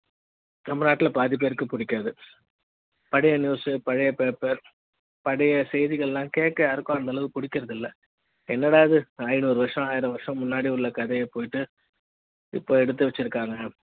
தமிழ்நாட்ல பாதி பேருக்கு புடிக்காது பழைய news பழைய பேப்பர் பழைய செய்திகளெல்லாம்கேட்க யாருக்கும் அந்த அளவுக்கு பிடிக்கிறது இல்லை என்னடா இது ஐநூறு வருசம் ஆயிரம் வருசம் முன்னாடி உள்ள கதைய போயிட்டு இப்ப எடுத்து வச்சிருக்காங்க